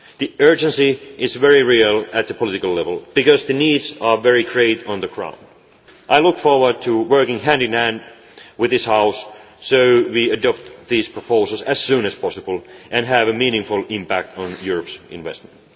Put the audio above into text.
most. The urgency is very real at political level because the needs are very great on the ground. I look forward to working hand in hand with this House so that we adopt these proposals as soon as possible and have a meaningful impact on Europe's investment.